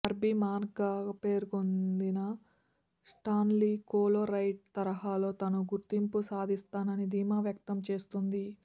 బార్బీమాన్గా పేరొందిన స్టాన్లీ కోలోరైట్ తరహాలో తాను గుర్తింపు సంపాదిస్తానని ధీమా వ్యక్తం చేస్తోంది